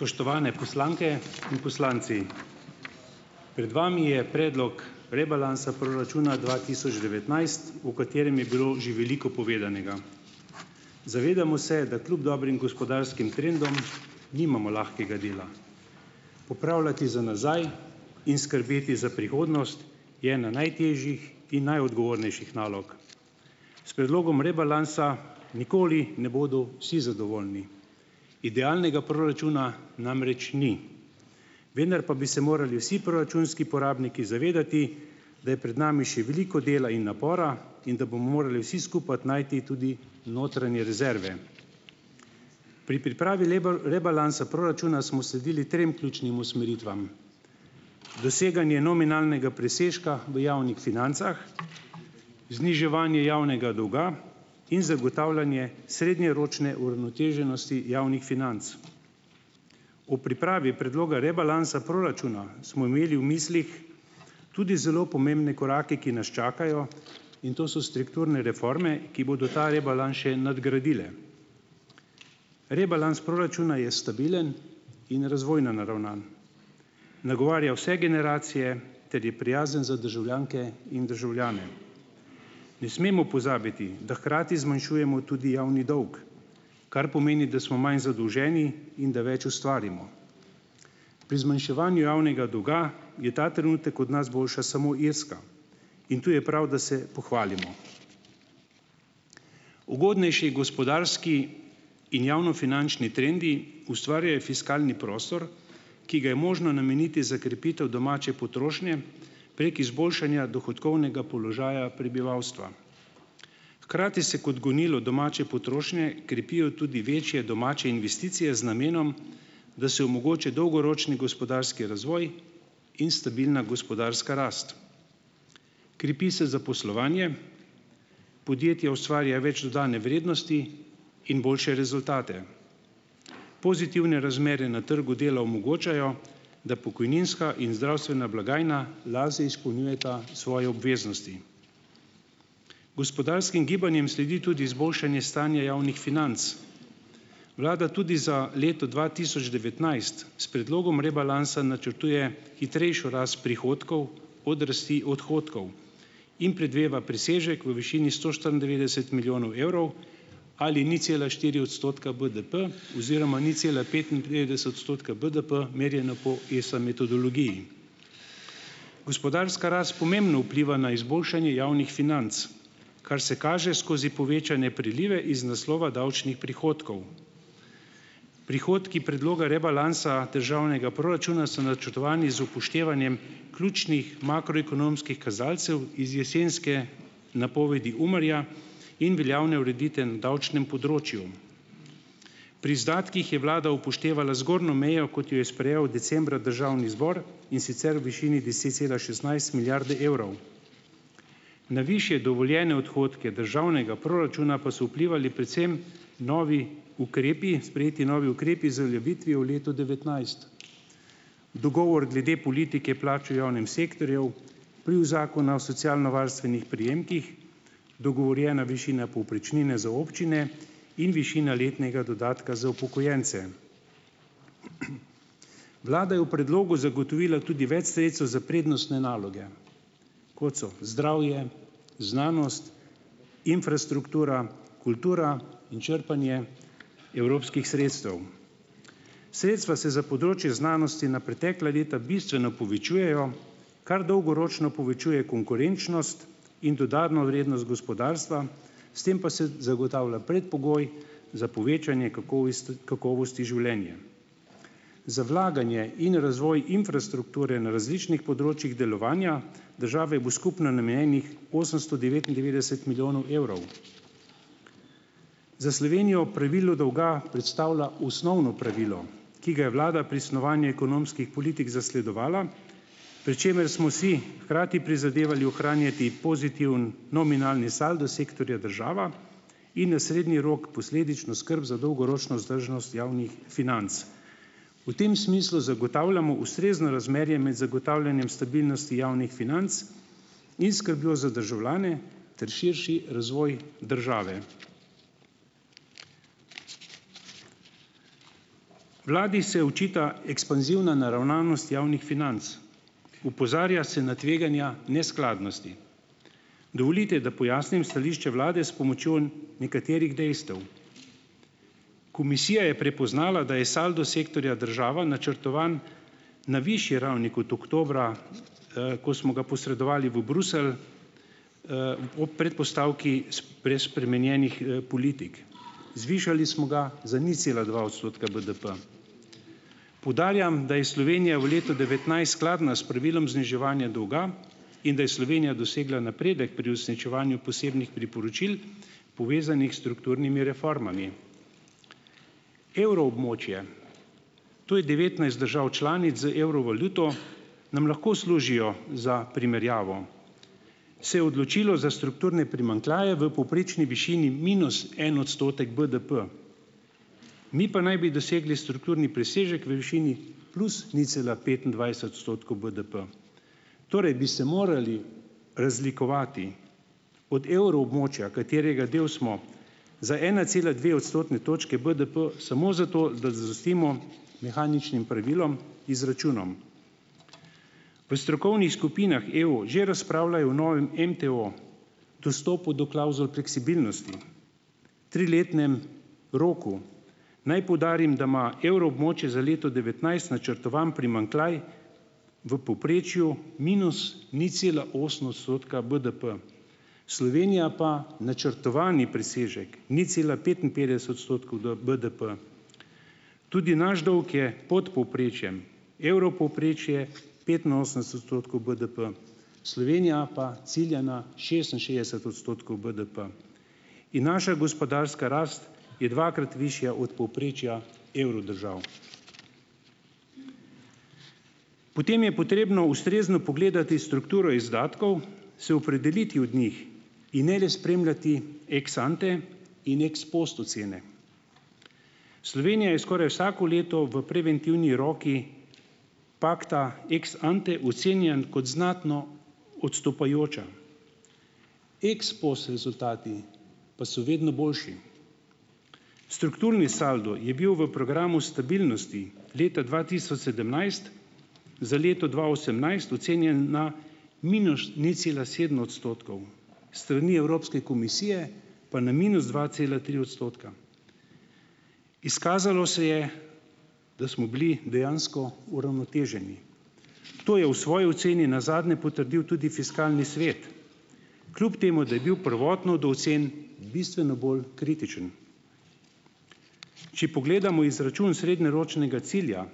Spoštovane poslanke in poslanci . Pred vami je predlog rebalansa proračuna dva tisoč devetnajst, o katerem je bilo že veliko povedanega. Zavedamo se, da kljub dobrim gospodarskim trendom nimamo lahkega dela. Popravljati za nazaj in skrbeti za prihodnost je ena najtežjih in najodgovornejših nalog. S predlogom rebalansa nikoli ne bodo vsi zadovoljni. Idealnega proračuna namreč ni. Vendar pa bi se morali vsi proračunski porabniki zavedati, da je pred nami še veliko dela in napora in da bomo morali vsi skupaj najti tudi notranje rezerve . Pri pripravi rebalansa proračuna smo sledili trem ključnim usmeritvam: doseganje nominalnega presežka v javnih financah, zniževanje javnega dolga in zagotavljanje srednjeročne uravnoteženosti javnih financ. O pripravi predloga rebalansa proračuna smo imeli v mislih tudi zelo pomembne korake, ki nas čakajo, in to so strukturne reforme, ki bodo ta rebalans še nadgradile. Rebalans proračuna je stabilen in razvojno naravnan. Nagovarja vse generacije ter je prijazen za državljanke in državljane . Ne smemo pozabiti, da hkrati zmanjšujemo tudi javni dolg. Kar pomeni, da smo manj zadolženi in da več ustvarimo. Pri zmanjševanju javnega dolga je ta trenutek od nas boljša samo Irska. In tu je prav, da se pohvalimo . Ugodnejši gospodarski in javnofinančni trendi ustvarjajo fiskalni prostor, ki ga je možno nameniti za krepitev domače potrošnje prek izboljšanja dohodkovnega položaja prebivalstva. Hkrati se kot gonilo domače potrošnje krepijo tudi večje domače investicije z namenom, da se omogoči dolgoročni gospodarski razvoj in stabilna gospodarska rast. Krepi se zaposlovanje, podjetje ustvarja več dodane vrednosti in boljše rezultate. Pozitivne razmere na trgu dela omogočajo, da pokojninska in zdravstvena blagajna lažje izpolnjujeta svoje obveznosti. Gospodarskim gibanjem sledi tudi izboljšanje stanja javnih financ . Vlada tudi za leto dva tisoč devetnajst s predlogom rebalansa načrtuje hitrejšo rast prihodkov od rasti odhodkov in predvideva presežek v višini sto štiriindevetdeset milijonov evrov ali nič cela štiri odstotka BDP oziroma nič cela petinpetdeset odstotka BDP, merjena po ESA metodologiji . Gospodarska rast pomembno vpliva na izboljšanje javnih financ, kar se kaže skozi povečane prilive iz naslova davčnih prihodkov. Prihodki predloga rebalansa državnega proračuna so načrtovani z upoštevanjem ključnih makroekonomskih kazalcev iz jesenske napovedi UMAR-ja in veljavne ureditve na davčnem področju. Pri izdatkih je vlada upoštevala zgornjo mejo, kot jo je sprejel decembra Državni zbor, in sicer v višini deset cela šestnajst milijarde evrov. Na višje dovoljene odhodke Državnega proračuna pa so vplivali predvsem novi ukrepi, sprejeti novi ukrepi z uveljavitvijo v letu devetnajst, dogovor glede politike plač v javnem sektorju, vpliv Zakona o socialnovarstvenih prejemkih, dogovorjena višina povprečnine za občine in višina letnega dodatka za upokojence. Vlada je v predlogu zagotovila tudi več sredstev za prednostne naloge, kot so: zdravje, znanost, infrastruktura, kultura in črpanje evropskih sredstev. Sredstva se za področje znanosti na pretekla leta bistveno povečujejo, kar dolgoročno povečuje konkurenčnost in dodano vrednost gospodarstva, s tem pa se zagotavlja predpogoj za povečanje kakovosti življenja. Za vlaganje in razvoj infrastrukture na različnih področjih delovanja države bo skupno namenjenih osemsto devetindevetdeset milijonov evrov. Za Slovenijo pravilo dolga predstavlja osnovno pravilo , ki ga je vlada pri snovanju ekonomskih politik zasledovala, pri čemer smo si hkrati prizadevali ohranjati pozitiven nominalni saldo sektorja država in na srednji rok posledično skrb za dolgoročno vzdržnost javnih financ. V tem smislu zagotavljamo ustrezno razmerje med zagotavljanjem stabilnosti javnih financ in skrbjo za državljane ter širši razvoj države. Vladi se očita ekspanzivna naravnanost javnih financ. Opozarja se na tveganja neskladnosti. Dovolite, da pojasnim stališče vlade s pomočjo nekaterih dejstev. Komisija je prepoznala, da je saldo sektorja država načrtovan na višji ravni kot oktobra, ko smo ga posredovali v Bruselj, ob predpostavki brez spremenjenih politik. Zvišali smo ga za nič cela dva odstotka BDP. Poudarjam, da je Slovenija v letu devetnajst skladna s pravilom zniževanja dolga in da je Slovenija dosegla napredek pri uresničevanju posebnih priporočil, povezanih strukturnimi reformami. Evroobmočje To je devetnajst držav članic z evro valuto , nam lahko služijo za primerjavo. Se je odločilo za strukturne primanjkljaje v povprečni višini minus en odstotek BDP. Mi pa naj bi dosegli strukturni presežek v višini plus nič cela petindvajset odstotkov BDB. Torej bi se morali razlikovati od evroobmočja, katerega del smo, za ena cela dve odstotne točke BDP samo zato, da zadostimo mehaničnim pravilom, izračunom. V strokovnih skupinah EU že razpravljajo o novem MTO, dostopu do klavzul fleksibilnosti, triletnem roku. Naj poudarim, da ima evroobmočje za leto devetnajst načrtovan primanjkljaj v povprečju minus nič cela osem odstotka BDP. Slovenija pa načrtovani presežek, nič cela petinpetdeset odstotkov BDP. Tudi naš dolg je pod povprečjem. Evropovprečje petinosemdeset odstotkov BDP. Slovenija pa cilja na šestinšestdeset odstotkov BDP. In naša gospodarska rast je dvakrat višja od povprečja evrodržav. Potem je potrebno ustrezno pogledati strukturo izdatkov, se opredeliti od njih in ne le spremljati ex ante in ex post ocene. Slovenija je skoraj vsako leto v preventivni roki pakta ex ante ocenjen kot znatno odstopajoča. Ex post rezultati pa so vedno boljši. Strukturni saldo je bil v programu stabilnosti leta dva tisoč sedemnajst za leto dva osemnajst ocenjen na minus nič cela sedem odstotkov, strani Evropske komisije pa na minus dva cela tri odstotka. Izkazalo se je, da smo bili dejansko uravnoteženi. To je v svoji oceni nazadnje potrdil tudi Fiskalni svet , kljub temu, da je bil prvotno do ocen bistveno bolj kritičen. Če pogledamo izračun srednjeročnega cilja,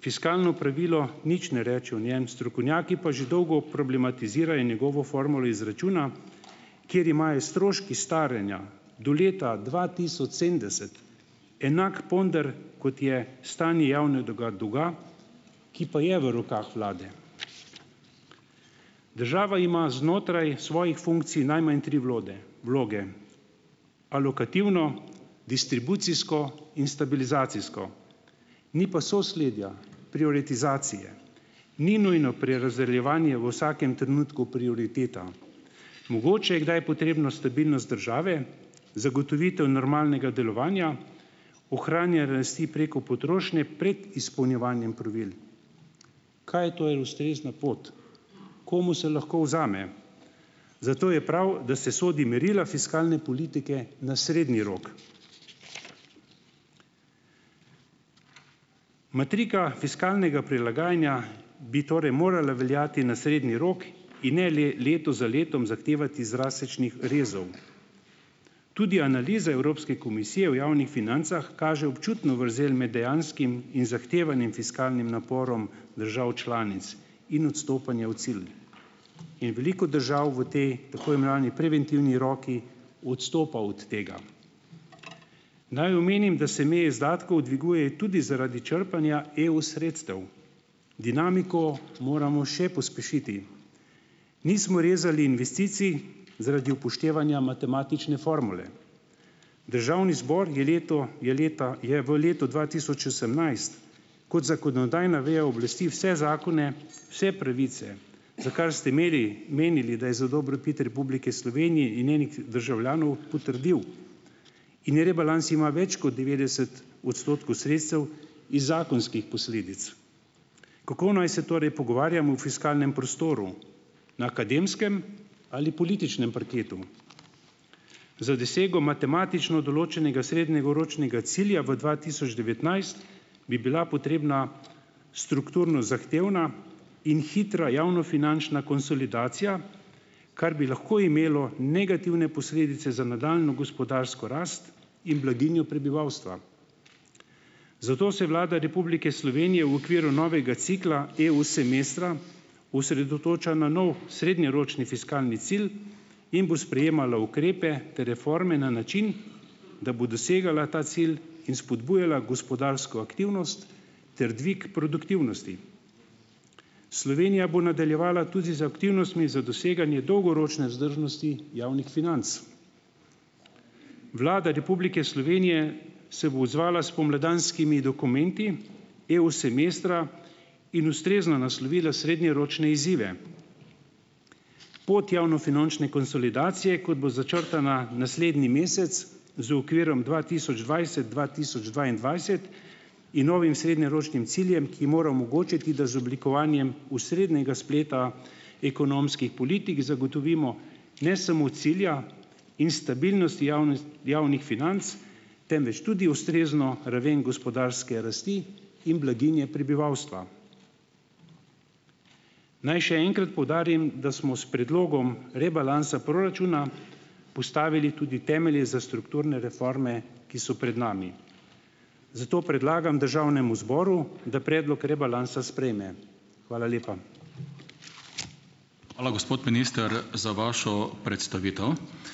fiskalno pravilo nič ne reče o njem, strokovnjaki pa že dolgo problematizirajo njegovo formulo izračuna, ker imajo stroški staranja do leta dva tisoč sedemdeset enak ponder, kot je stanje javnega dolga, ki pa je v rokah vlade. Država ima znotraj svojih funkcij najmanj tri vloge. Alokativno, distribucijsko in stabilizacijsko. Ni pa sosledja, prioritizacije. Ni nujno prerazdeljevanje v vsakem trenutku prioriteta. Mogoče je kdaj potrebno stabilnost države, zagotovitev normalnega delovanja, ohranja rasti preko potrošnje pred izpolnjevanjem pravil. Kaj je torej ustrezna pot? Komu se lahko vzame? Zato je prav, da se sodi merila fiskalne politike na srednji rok. Matrika fiskalnega prilagajanja bi torej morala veljati na srednji rok in ne leto za letom zahtevati drastičnih rezov . Tudi analiza Evropske komisije v javnih financah kaže občutno vrzel med dejanskim in zahtevanim fiskalnim naporom držav članic in odstopanja o cilj. In veliko držav v tej tako imenovani preventivni roki odstopa od tega. Naj omenim, da se meje izdatkov dviguje tudi zaradi črpanja EU sredstev. Dinamiko moramo še pospešiti. Nismo rezali investicij zaradi upoštevanja matematične formule. Državni zbor je leto, je leta, je v letu dva tisoč osemnajst kot zakonodajna veja oblasti vse zakone, vse pravice za kar ste imeli, menili, da je za dobrobit Republike Slovenije in njenih državljanov, potrdil. In rebalans ima več kot devetdeset odstotkov sredstev iz zakonskih posledic. Kako naj se torej pogovarjamo o fiskalnem prostoru? Na akademskem ali političnem parketu? Za dosego matematično določenega srednjeročnega cilja v dva tisoč devetnajst bi bila potrebna strukturno zahtevna in hitra javnofinančna konsolidacija, kar bi lahko imelo negativne posledice za nadaljnjo gospodarsko rast in blaginjo prebivalstva. Zato se Vlada Republike Slovenije v okviru novega cikla EU semestra , osredotoča na nov, srednjeročni fiskalni cilj in bo sprejemalo ukrepe ter reforme na način, da bo dosegala ta cilj in spodbujala gospodarsko aktivnost ter dvig produktivnosti. Slovenija bo nadaljevala tudi z aktivnostmi za doseganje dolgoročne vzdržnosti javnih financ. Vlada Republike Slovenije se bo odzvala spomladanskimi dokumenti EU semestra in ustrezno naslovila srednjeročne izzive. Pot javnofinančne konsolidacije, kot bo začrtana naslednji mesec, z okvirom dva tisoč dvajset - dva tisoč dvaindvajset in novim srednjeročnim ciljem, ki mora omogočiti, ki da z oblikovanjem osrednjega spleta ekonomskih politik zagotovimo ne samo cilja in stabilnosti javnih financ, temveč tudi ustrezno raven gospodarske rasti in blaginje prebivalstva. Naj še enkrat poudarim, da smo s predlogom rebalansa proračuna postavili tudi temelje za strukturne reforme, ki so pred nami. Zato predlagam Državnemu zboru, da predlog rebalansa sprejme. Hvala lepa. Hvala, gospod minister, za vašo predstavitev.